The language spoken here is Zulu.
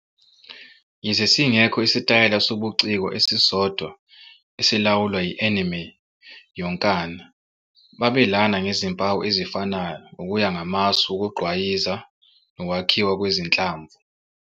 Yize singekho isitayela sobuciko esisodwa esilawula i-anime yonkana, babelana ngezimpawu ezifanayo ngokuya ngamasu wokugqwayiza nokwakhiwa kwezinhlamvu.